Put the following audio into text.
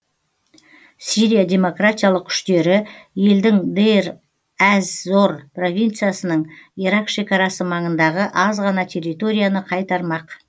сирия демократиялық күштері елдің дейр әз зор провинциясының ирак шекарасы маңындағы аз ғана территорияны қайтармақ